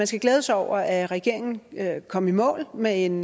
skal glæde sig over at regeringen kom i mål med en